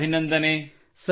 ಶಭಾಷ್ Vinayak ಶಭಾಷ್